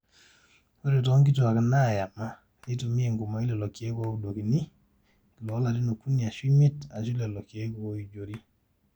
ore toonkituuaak naayam neitumia enkumoi lelo keek ooudokini, iloolarin okuni aashu imiet, aashu lelo keek ooijori